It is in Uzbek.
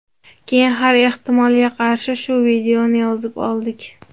Keyin har ehtimolga qarshi shu videoni yozib oldik.